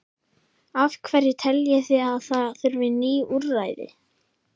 Af hverju teljið þið að það þurfi ný úrræði?